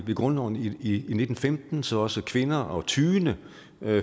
med grundloven i nitten femten så også kvinder og tyende